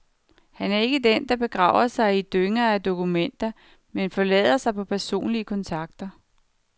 Han er ikke den, der begraver sig i dynger af dokumenter, men forlader sig på personlige kontakter.